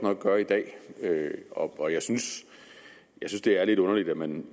nok gøre i dag og jeg synes at det er lidt underligt at man